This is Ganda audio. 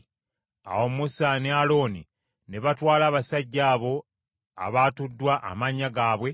Awo Musa ne Alooni ne batwala abasajja abo abaatuddwa amannya gaabwe,